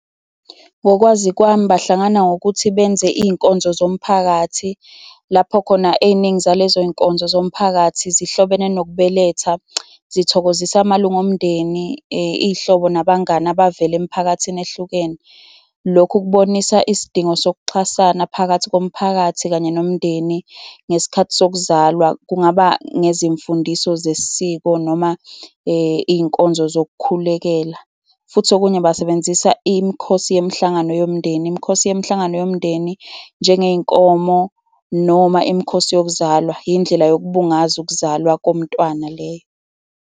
Ngokwazi kwami bahlangana ngokuthi benze iy'nkonzo zomphakathi, lapho khona ey'ningi zalezo y'nkonzo zomphakathi zihlobene nokubeletha, zizithokozisa amalunga omndeni, iy'hlobo, nabangani abavela emphakathini ehlukene. Lokhu kubonisa isidingo sokuxhasana phakathi komphakathi kanye nomndeni ngesikhathi sokuzalwa. Kungaba ngezimfundiso zesiko noma iy'nkonzo zokukhulekela. Futhi okunye basebenzisa imikhosi yemihlangano yomndeni, imikhosi yemihlangano yomndeni njengey'nkomo noma imikhosi yokuzalwa, indlela yokubungaza ukuzalwa komntwana leyo.